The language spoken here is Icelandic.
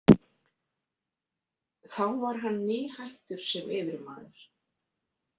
Þá var hann nýhættur sem yfirmaður.